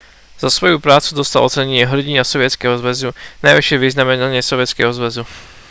za svoju prácu dostal ocenenie hrdina sovietskeho zväzu najvyššie vyznamenanie sovietskeho zväzu